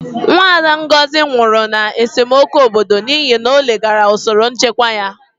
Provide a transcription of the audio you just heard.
Nwada Ngozi nwụrụ na esemokwu obodo n'ihi na o leghaara usoro nchekwa anya.